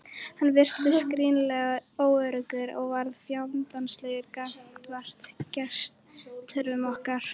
Hann virtist gríðarlega óöruggur og varð fjandsamlegur gagnvart gestgjöfum okkar.